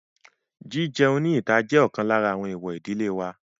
Jí-jẹun ní ìta jẹ́ ọ̀kan lára àwọn èwọ̀ ìdílé wa.